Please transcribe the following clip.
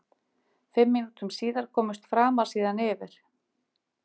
Fimm mínútum síðar komust Framar síðan yfir.